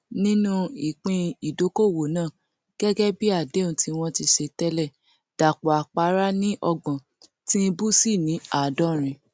nínú ìpín ìdókóówo náà gẹgẹ bí àdéhùn tí wọn ti ṣe tẹlẹ dàpọ àpárá ni ọgbọn tìǹbù sì ní àádọrin